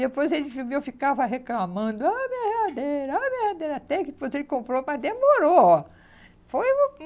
Depois ele viveu, ficava reclamando, ó minha geladeira, ó minha geladeira até que depois ele comprou, mas demorou, ó. Foi uma